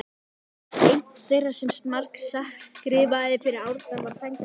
Einn þeirra sem margt skrifaði fyrir Árna var frændi hans